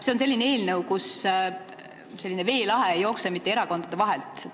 See on selline eelnõu, kus veelahe ei jookse mitte erakondade vahelt.